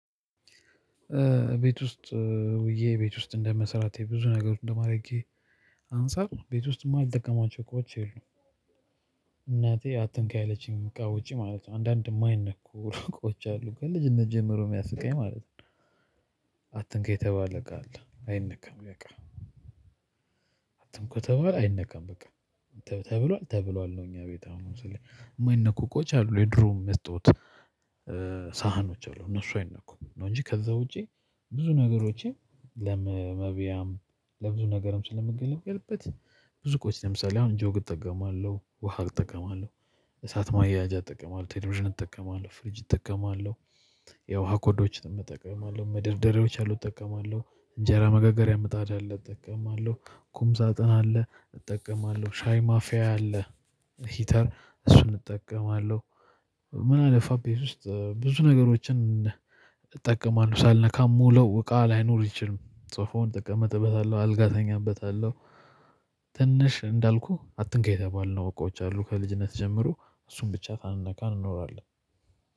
ቤት ውስጥ ውዬ ቤት ውስጥ እንደመስራቴ ብዙ ነገር እንደማድረጌ አንፃር ቤት ውስጥ የማልጠቀማቸው እቃዎች የሉም። እናቴ አትንካ ያለችኝ እቃ ውጪ ማለት ነው አንዳንድ የማይነኩ እቃዎች አሉ ከልጅነት ጀምሮ የሚያስቀኝ ማለት ነው። አትንካ የተባለ እቃ አለ አይነካም እቃ በቃ። አትምኩ ተብሏል አይነካም በቃ ተብሏል ተብሏል ነው። እኛ ቤት አሁን ስልህ የማይነኩ እቃዎች አሉ የድሮ መስታወት። ሳህኖች አሉ እነሱ አይነኩም ነው እንጂ ከዛ ውጪ። ብዙ ነገሮቼ ለመብያም ለብዙ ነገርም ስለምገለግልበት ብዙ እቃዎች ለምሳሌ አሁን ጆግ እጠቀማለሁ ውሃ እጠቀማለሁ። እሳት ማያያዣ እጠቀማለሁ ቴሌቪዥን እጠቀማለሁ ፍሪጅ እጠቀማለሁ። የውሃ ኮዳዎችንም እጠቀማለሁ መደርደሪያዎች አሉ እጠቀማለሁ እንጀራ መጋገሪያ ምጣድ አለ እጠቀማለሁ ቁም ሳጥን አለ እጠቀማለሁ ሻይ ማፊያ አለ ሂተር እሱን እጠቀማለሁ። ምን አለፋህ ቤት ውስጥ ብዙ ነገሮችን? እጠቀማለሁ ሳልነካ የምውለው እቃ ላይኖር አይችልም ሶፋውን እቀመጥበታለሁ አልጋ እተኛበታለሁ። ትንሽ እንዳልኩህ አትንካ የተባልንው እቃዎች አሉ ከልጅነት ጀምሮ እሱን ብቻ ሳንነካ እንኖራለን